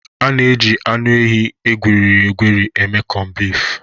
A na-eji anụ ehi egwerịrị egwerị eme kọnbif